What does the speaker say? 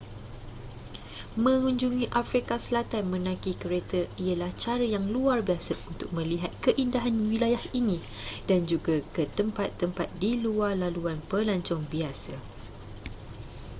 mengunjungi afrika selatan menaiki kereta ialah cara yang luar biasa untuk melihat keindahan wilayah ini dan juga ke tempat-tempat di luar laluan pelancong biasa